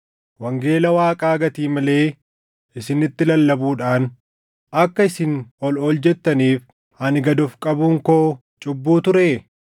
Wangeela Waaqaa gatii malee isinitti lallabuudhaan akka isin ol ol jettaniif ani gad of qabuun koo cubbuu turee?